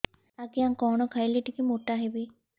ଆଜ୍ଞା କଣ୍ ଖାଇଲେ ଟିକିଏ ମୋଟା ହେବି